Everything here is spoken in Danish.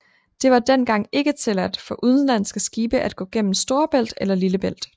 Det var dengang ikke tilladt for udenlandske skibe at gå gennem Storebælt eller Lillebælt